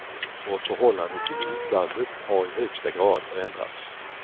Vårt förhållande till utlandet har i högsta grad förändrats.